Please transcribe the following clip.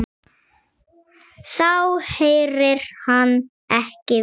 Þá heyrir hann ekki vel.